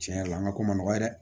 Tiɲɛ yɛrɛ la an ka ko man nɔgɔ ye dɛ